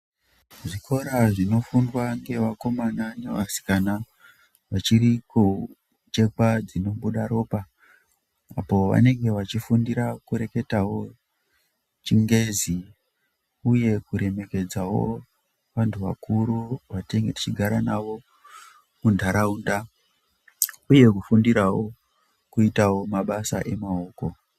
Zvikora zvinofundwa ngevakomana nevasikana vachiri kuchekwa dzinobude ropa, vanenge vachifundira kureketawo chingezi uye kuremekedzawo vandu vakuru vatenge tichigara nawo munharaunda uye kufundirawo kuitawo mabasa emaoko.